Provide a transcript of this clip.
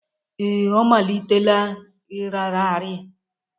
Ee, ọ malitela ịrara arị.